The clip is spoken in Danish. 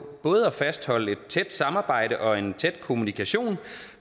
både at fastholde et tæt samarbejde og en tæt kommunikation